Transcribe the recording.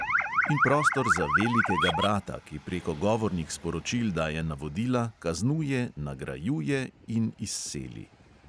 In prostor za velikega brata, ki preko govornih sporočil daje navodila, kaznuje, nagrajuje in izseli.